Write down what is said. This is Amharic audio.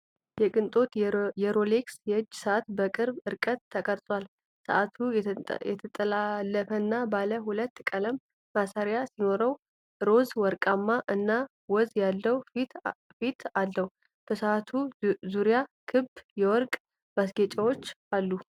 የቅንጦት የሮሌክስ የእጅ ሰዓት በቅርብ ርቀት ተቀርጿል። ሰዓቱ የተጠላለፈና ባለ ሁለት ቀለም ማሰሪያ ሲኖረው ሮዝ ወርቃማ እና ወዝ ያለው ፊት አለው። በሰዓቱ ዙሪያ ክብ የወርቅ ማስጌጫዎች አሉ።